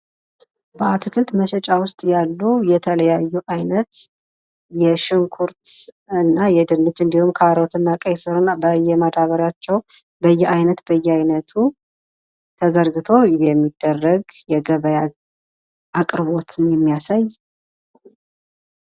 በአትክልት መሸጫ ውስጥ ያሉ የተለያዩ የሽንኩርት ፣ድንች፣ ካሮትና ቀይ ስር በየማዳበሪያው በየ አይነት በየ አይነቱ ተዘርግቶ የሚደረግ የግብይት አይነት ነው ።